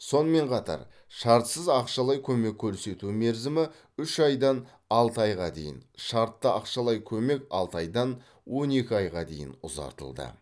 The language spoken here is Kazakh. сонымен қатар шартсыз ақшалай көмек көрсету мерзімі үш айдан алты айға дейін шартты ақшалай көмек алты айдан он екі айға дейін ұзартылды